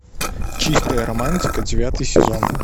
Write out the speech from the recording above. чистая романтика девятый сезон